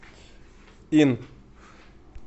ин